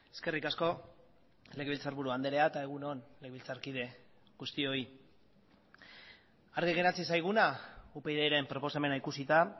eskerrik asko legebiltzarburu andrea eta egun on legebiltzarkide guztioi argi geratzen zaiguna upydren proposamena ikusita